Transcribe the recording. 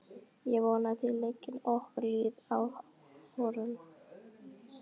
Ég vona að þér leggið okkur lið í þeim áformum.